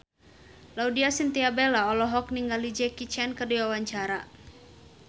Laudya Chintya Bella olohok ningali Jackie Chan keur diwawancara